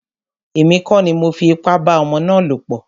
Èmi kọ́ ni mọ fi ipá bá ọmọ ná lọ̀ pọ̀.